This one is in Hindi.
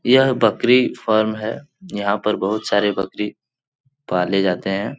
यह बकरी फर्म है यहां पर बहुत सारे बकरी पाले जाते है।